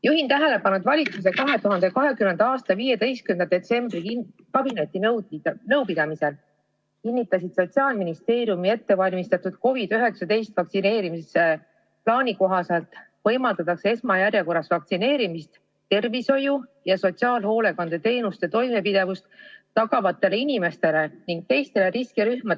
Juhin tähelepanu, et valitsuse 2020. aasta 15. detsembri kabinetinõupidamisel kinnitatud, Sotsiaalministeeriumi ettevalmistatud COVID-19 vastu vaktsineerimise plaani kohaselt võimaldatakse esmajärjekorras vaktsineerida tervishoiu- ja sotsiaalhoolekandeteenuste toimepidevust tagavad inimesed ning teised riskirühmad.